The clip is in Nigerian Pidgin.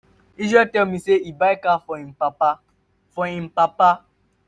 israel tell me say he buy car for im papa. for im papa.